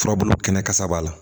Furabulu kɛnɛ kasa b'a la